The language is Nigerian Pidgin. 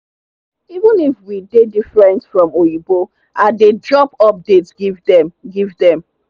even if we dey different from oyinbo i dey drop update give dem. give dem.